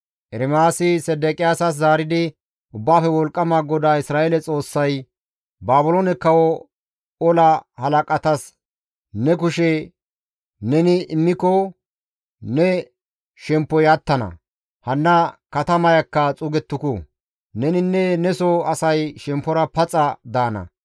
Ermaasi Sedeqiyaasas zaaridi, «Ubbaafe Wolqqama GODAA Isra7eele Xoossay, ‹Baabiloone kawo ola halaqatas ne kushe neni immiko ne shemppoy attana; hanna katamayakka xuugettuku; neninne neso asay shemppora paxa daana.